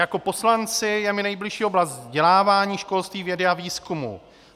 Jako poslanci je mi nejbližší oblast vzdělávání, školství, vědy a výzkumu.